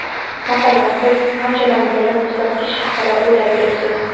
Masalan, siz anchadan beri muzlatgich haqida o‘ylab yuribsiz.